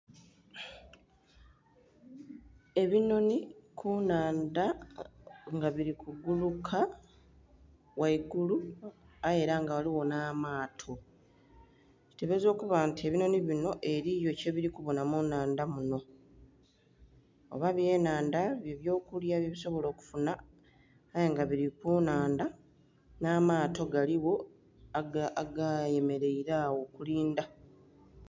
Ebinhonhi ku nnhandha nga bili ku bbuluka ghaigulu aye ela nga ghaligho nh'amaato. Kitebelezebwa okuba nti ebinhonhi binho eliyo kye bili kubonha mu nnhandha munho oba byenhandha ebyokulya bye bisobola okufunha, aye nga bili ku nnhandha nh'amaato galigho aga yemeleire agho, okulindha.